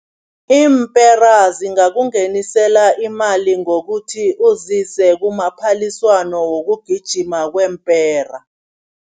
Iimpera zingakungenisela imali ngokuthi uzise kumaphaliswano wokugijima kweempera.